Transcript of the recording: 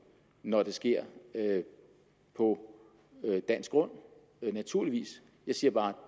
når det sker på dansk grund naturligvis jeg siger bare at